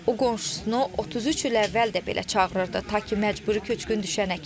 O qonşusunu 33 il əvvəl də belə çağırırdı, ta ki məcburi köçkün düşənə kimi.